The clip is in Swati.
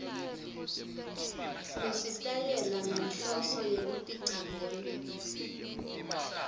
nesitayela ngenhloso yekuticambela